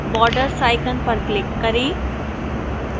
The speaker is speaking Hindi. borders icon पर click करें